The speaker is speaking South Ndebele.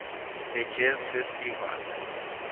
the jazz festival